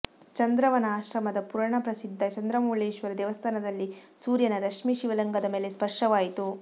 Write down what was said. ಚಂದ್ರವನ ಆಶ್ರಮದ ಪುರಾಣ ಪ್ರಸಿದ್ಧ ಚಂದ್ರಮೌಳೇಶ್ವರ ದೇವಸ್ಥಾನದಲ್ಲಿ ಸೂರ್ಯನ ರಶ್ಮಿ ಶಿವಲಿಂಗದ ಮೇಲೆ ಸ್ಪರ್ಶವಾಯಿತು